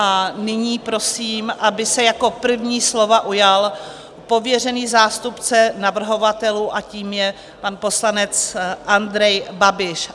A nyní prosím, aby se jako první slova ujal pověřený zástupce navrhovatelů, a tím je pan poslanec Andrej Babiš.